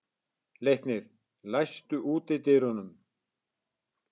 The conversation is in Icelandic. Leiknir, læstu útidyrunum.